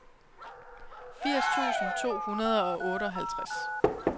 firs tusind to hundrede og otteoghalvtreds